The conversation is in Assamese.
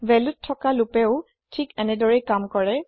ভেল্যুত থকা লোপেও থিক এনেদৰেই কাম কৰে